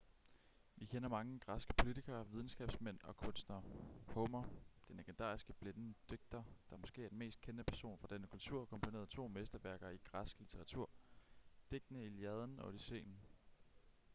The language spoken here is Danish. vi kender mange græske politikere videnskabsmænd og kunstnere homer den legendariske blinde digter der måske er den mest kendte person fra denne kultur komponerede to mesterværker i græsk litteratur digtene iliaden og odysseen